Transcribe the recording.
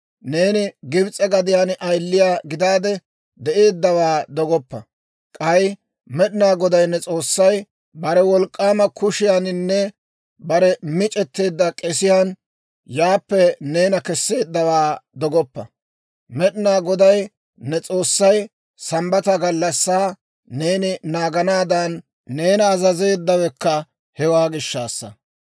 Neeni Gibs'e gadiyaan ayiliyaa gidaade de'eeddawaa dogoppa; k'ay Med'inaa Goday ne S'oossay bare wolk'k'aama kushiyaaninne bare mic'etteedda k'esiyaan yaappe neena kesseeddawaa dogoppa. Med'inaa Goday ne S'oossay Sambbata gallassaa neeni naaganaadan, neena azazeeddawekka hewaa gishshaassa.